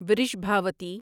Vrishabhavati